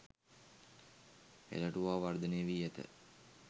හෙළටුවා වර්ධනය වී ඇත.